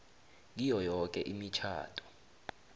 kiyo yoke imitjhado